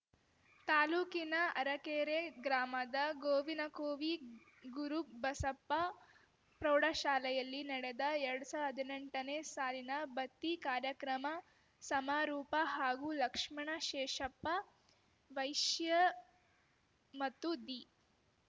ತಾಲೂಕಿನ ಅರಕೆರೆ ಗ್ರಾಮದ ಗೋವಿನಕೋವಿ ಗುರುಬಸಪ್ಪ ಪ್ರೌಢಶಾಲೆಯಲ್ಲಿ ನಡೆದ ಎರ್ಡು ಸಾ ಹದಿನೆಂಟನೇ ಸಾಲಿನ ಬತ್ತಿ ಕಾರ್ಯಕ್ರಮ ಸಮಾರೂಪ ಹಾಗೂ ಲಕ್ಷ್ಮಣ ಶೇಷಪ್ಪ ವೈಶ್ಯ ಮತ್ತು ದಿ